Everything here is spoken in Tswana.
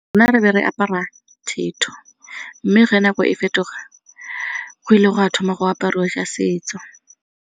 Rona re be re apara thetho mme fa nako e fetoga go ile go a thoma go apariwa tsa setso.